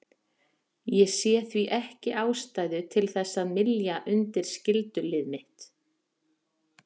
Ég sé því ekki ástæðu til þess að mylja undir skyldulið mitt.